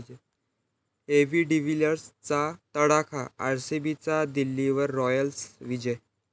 AB डिव्हिलियर्सचा तडाखा, आरसीबीचा दिल्लीवर 'राॅयल' विजय